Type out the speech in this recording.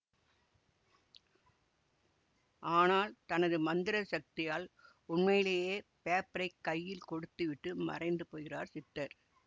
ஆனால் தனது மந்திர சக்தியால் உண்மையிலேயே பேப்பரை கையில் கொடுத்துவிட்டு மறைந்து போகிறார் சித்தர்